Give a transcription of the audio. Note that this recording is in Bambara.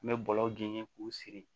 N bɛ bɔlɔlɔ genin k'u siri